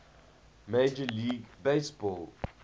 major league baseball